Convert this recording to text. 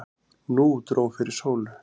Nú dró fyrir sólu.